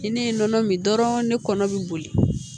Ni ne ye nɔnɔ min dɔrɔn ne kɔnɔ bi boli